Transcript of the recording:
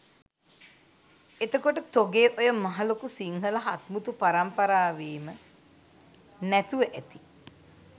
එතකොට තොගේ ඔය මහා ලොකු සිංහල හත්මුතු පරම්පරාවේම නැතුව ඇති